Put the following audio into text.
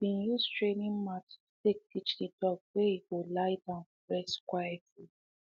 he been use training mat to take teach the dog where e go lie down rest quietly